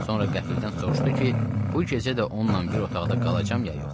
Sonra qəfildən soruşdu ki, bu gecə də onunla bir otaqda qalacam ya yox?